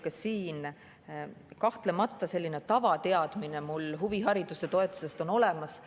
Ka siin kahtlemata selline tavateadmine mul huvihariduse toetuse kohta on olemas.